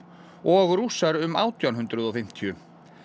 og Rússar um átján hundruð og fimmtíu